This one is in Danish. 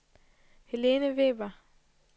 Helene Weber